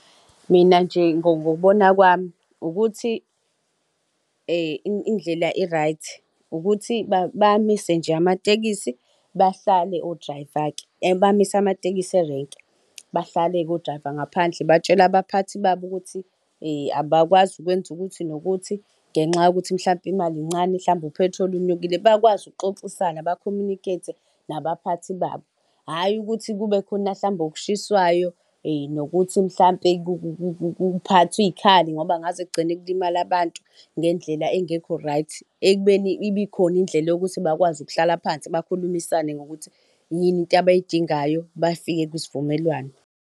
Mina nje ngokubona kwami, ukuthi indlela indlela e-right ukuthi bamise nje amatekisi, bahlale o-driver-ke bamise amatekisi erenki, bahlale-ke o-driver ngaphandle, batshele abaphathi babo ukuthi abakwazi ukwenza ukuthi nokuthi ngenxa yokuthi mhlawumpe imali encane mhlawume uphethiloli inyukile. Bakwazi ukuxoxisana bakhomunikhethe nabaphathi babo, hhayi ukuthi kube khona mhlawumbe okushiswayo nokuthi mhlampe kuphathwa iy'khali ngoba ngaze kugcine kulimala abantu ngendlela engekho right, ekubeni ibe ikhona indlela yokuthi bakwazi ukuhlala phansi, bakhulumisane ngokuthi yini into abayidingayo bafike kwisivumelwano.